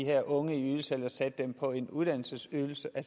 her unges ydelse eller satte dem på en uddannelsesydelse og